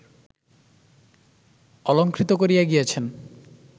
অলঙ্কৃত করিয়া গিয়াছেন